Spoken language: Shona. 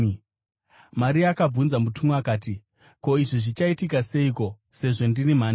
Maria akabvunza mutumwa akati, “Ko, izvi zvichaitika seiko sezvo ini ndiri mhandara?”